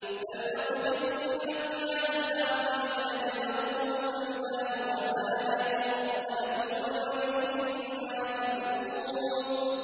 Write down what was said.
بَلْ نَقْذِفُ بِالْحَقِّ عَلَى الْبَاطِلِ فَيَدْمَغُهُ فَإِذَا هُوَ زَاهِقٌ ۚ وَلَكُمُ الْوَيْلُ مِمَّا تَصِفُونَ